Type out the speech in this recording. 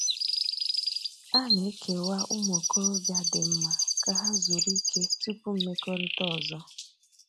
A na-ekewa ụmụ okorobịa dị mma ka ha zuru ike tupu mmekọrịta ọzọ.